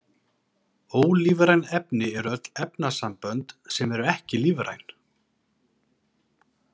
Ólífræn efni eru öll efnasambönd sem eru ekki lífræn.